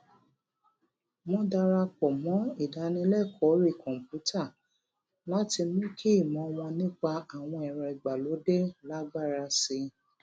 wọn dara pọ mọ ìdánilẹkọọ orí kòǹpútà láti mú kí ìmọ wọn nípa àwọn ẹrọ ìgbàlódé lágbára sí i